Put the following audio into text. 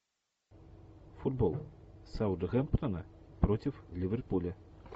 футбол саутгемптона против ливерпуля